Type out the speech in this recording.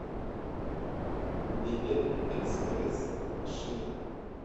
билет экспресс шина